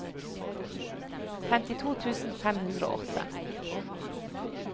femtito tusen fem hundre og åtte